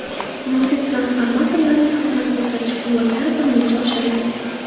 Mavjud transformatorlarning xizmat ko‘rsatish quvvatlari birmuncha oshirilgan.